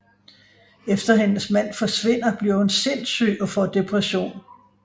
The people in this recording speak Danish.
Efter hendes mand forsvinder bliver hun sindssyg og får depression